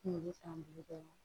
Kunkolo san duuru bɛɛ la